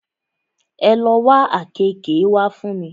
Ẹ lo wá àkeekee wá fún mi!